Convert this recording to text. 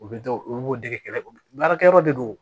U bɛ dɔw u b'u dege kɛlɛkɛ yɔrɔ de do